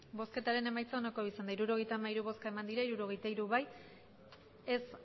emandako botoak hirurogeita hamairu bai hirurogeita hiru ez